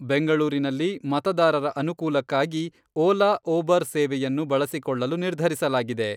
ಬೆಂಗಳೂರಿನಲ್ಲಿ ಮತದಾರರ ಅನುಕೂಲಕ್ಕಾಗಿ ಓಲಾ, ಒಬರ್ ಸೇವೆಯನ್ನು ಬಳಸಿಕೊಳ್ಳಲು ನಿರ್ಧರಿಸಲಾಗಿದೆ.